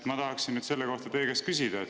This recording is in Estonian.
Ma tahaksin selle kohta teie käest küsida.